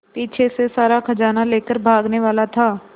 पीछे से सारा खजाना लेकर भागने वाला था